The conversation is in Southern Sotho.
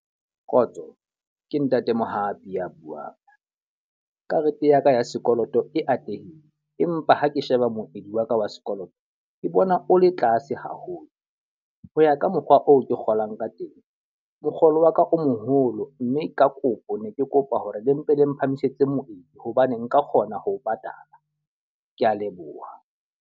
Kgotso, ke ntate Mohapi a buang. Karete ya ka ya sekoloto e atlehile. Empa ha ke sheba moedi wa ka wa sekoloto ke bona o le tlase haholo. Ho ya ka mokgwa oo ke kgolang ka teng, mokgolo wa ka o moholo mme ka kopo ne ke kopa hore le mpe le mphamisetse moedi hobane nka kgona ho patala. Ke a leboha.